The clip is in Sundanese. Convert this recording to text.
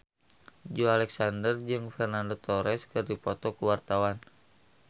Joey Alexander jeung Fernando Torres keur dipoto ku wartawan